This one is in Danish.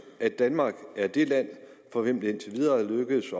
at danmark er det land for hvilket det indtil videre er lykkedes